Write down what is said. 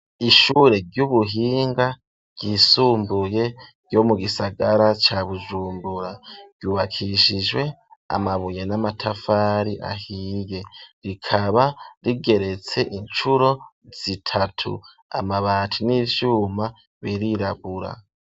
Ishure ry'ubuhinga ryisumbuye ryo mu gisagara ca Bujumbura ,ryubakishijwe amabuye n'amatafari ahiye, rikaba rigeretse incuro zitatu, amabati n'ivyuma birirabura.